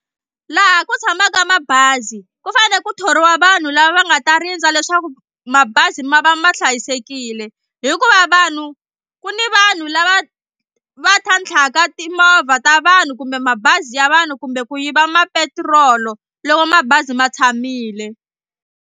Laha ku tshamaka mabazi ku fane ku thoriwa vanhu lava va nga ta rindza leswaku mabazi ma va ma hlayisekile hikuva vanhu ku ni vanhu lava va tlhantlhaka timovha ta vanhu kumbe mabazi ya vanhu kumbe ku yiva mapetirolo loko mabazi ma tshamile.